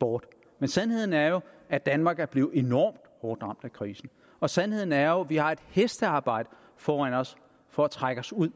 bort men sandheden er jo at danmark er blevet enormt hårdt ramt af krisen og sandheden er at vi har et hestearbejde foran os for at trække os ud